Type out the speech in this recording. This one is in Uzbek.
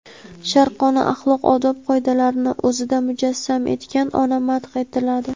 sharqona axloq-odob qoidalarini o‘zida mujassam etgan ona madh etiladi.